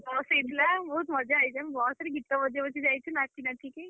Bus ହେଇଥିଲା ବହୁତ୍ ମଜା ହେଇଛି। ଆମେ ରେ ଗୀତ ବଜେଇ ବଜେଇ ଯାଇଚୁ ନାଚି ନାଚିକି।